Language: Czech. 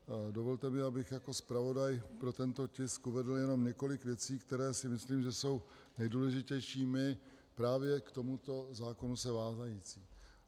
Dovolte mi, abych jako zpravodaj pro tento tisk uvedl jenom několik věcí, které si myslím, že jsou nejdůležitější, právě k tomuto zákonu se vázající.